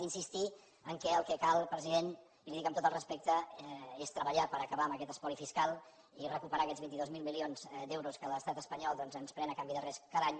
i insistir que el que cal president i li ho dic amb tot el respecte és treballar per acabar amb aquest espoli fiscal i recuperar aquests vint dos mil milions d’euros que l’estat espanyol doncs ens pren a canvi de res cada any